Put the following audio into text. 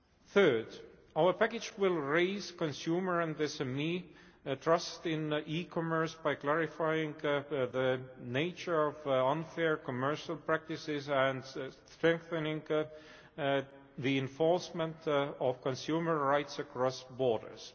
Third, our package will raise consumer and SME trust in e commerce by clarifying the nature of unfair commercial practices and strengthening the enforcement of consumer rights across borders.